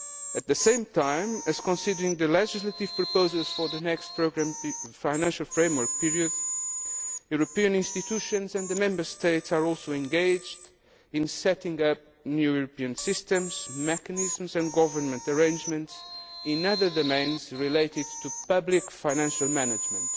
At the same time as considering the legislative proposals for the next financial framework period, European institutions and Member States are also engaged in setting up new European systems, mechanisms and governance arrangements in other domains related to public financial management,